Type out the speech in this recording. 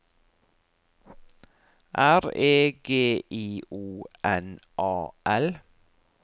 R E G I O N A L